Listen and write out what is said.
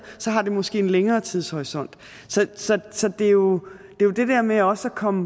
så har det måske en længere tidshorisont så så det er jo det der med også at komme